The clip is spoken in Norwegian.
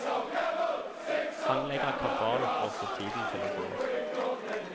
Han legger kabal for å få tiden til å gå.